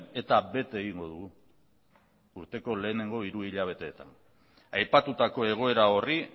eta bete egingo dugu urteko lehenengo hiru hilabeteetan aipatutako egoera horri